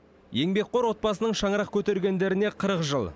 еңбекқор отбасының шаңырақ көтергендеріне қырық жыл